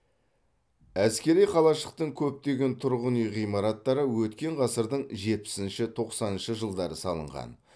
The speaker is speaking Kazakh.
әскери қалашықтың көптеген тұрғын үй ғимараттары өткен ғасырдың жетпісінші тоқсаныншы жылдары салынған